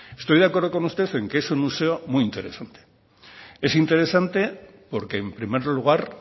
estoy de acuerdo con usted en que es un museo muy interesante es interesante porque en primer lugar